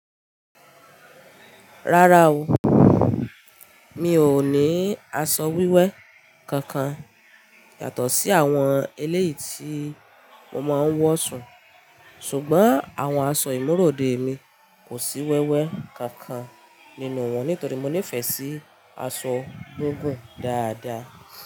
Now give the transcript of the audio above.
Rárá o, mi ò ní aṣọ wíwẹ́ kankan yàtọ̀ sí àwọn eléyìí tí mo máa ń wọ̀ sùn, ṣùgbọ́n àwọn aṣọ ìmúròde mi kò sí wẹ́wẹ́ kankan nínú wọn nítorí mo nífẹ̀ẹ́ sí aṣọ gungun dáadáa.